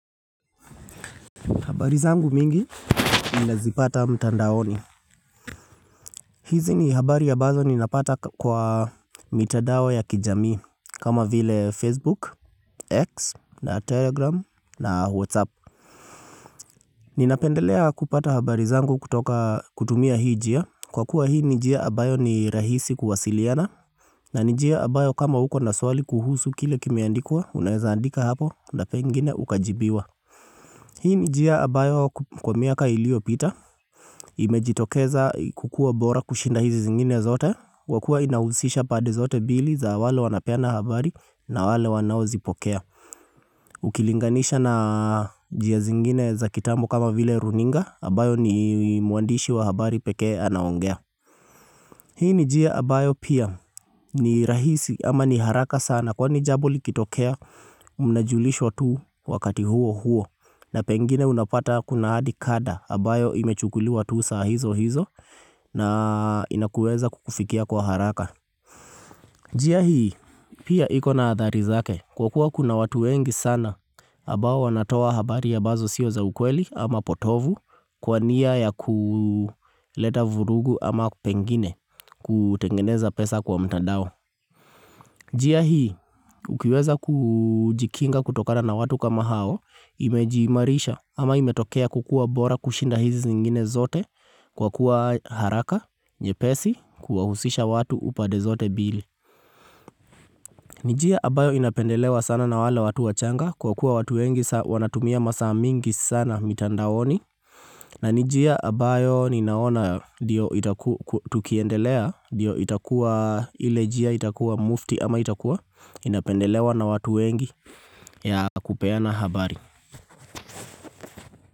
Habari zangu mingi, ninazipata mtandaoni. Hizi ni habari ambazo ninapata kwa mitandao ya kijami. Kama vile Facebook, X, na Telegram, na WhatsApp. Ninapendelea kupata habari zangu kutumia hii njia. Kwa kuwa hii ni njia ambayo ni rahisi kuwasiliana. Na ni njia ambayo kama uko na swali kuhusu kile kimeandikwa, unaezaandika hapo na pengine ukajibiwa. Hii ni njia ambayo kwa miaka iliyopita. Imejitokeza kukuwa bora kushinda hizi zingine zote kwa kuwa inahusisha pande zote mbili za wale wanapena habari na wale wanaozipokea Ukilinganisha na njia zingine za kitambo kama vile runinga, ambayo ni mwandishi wa habari pekee anaongea Hii ni njia ambayo pia ni rahisi ama ni haraka sana Kwani jambo likitokea mnajulishwa tu wakati huo huo na pengine unapata kuna hadi kada ambayo imechukuliwa tu saa hizo hizo na inakuweza kukufikia kwa haraka Jia hii, pia iko na adhari zake kwa kuwa kuna watu wengi sana ambao wanatoa habari ambazo sio za ukweli ama potovu Kwa nia ya kuleta vurugu ama pengine kutengeneza pesa kwa mtandao njia hii, ukiweza kujikinga kutokana na watu kama hao Imejiimarisha ama imetokea kukua bora kushinda hizi zingine zote Kwa kuwa haraka, nyepesi, kuwahusisha watu upade zote mbili ni njia ambayo inapendelewa sana na wale watu wachanga Kwa kuwa watu wengi wanatumia masaa mingi sana mitandaoni na ni njia ambayo ninaona ndiyo itakua tukiendelea ndio itakuwa ile jia itakuwa mufti ama itakuwa Inapendelewa na watu wengi ya kupeana habari.